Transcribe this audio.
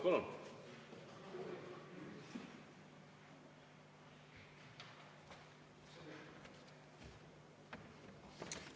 Palun!